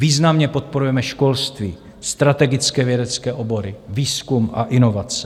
Významně podporujeme školství, strategické vědecké obory, výzkum a inovace.